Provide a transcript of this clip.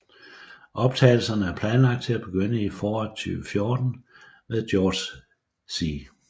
Optagelserne er planlagt til at begynde i foråret 2014 med George C